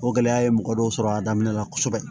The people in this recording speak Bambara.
O gɛlɛya ye mɔgɔ dɔw sɔrɔ a daminɛ na kosɛbɛ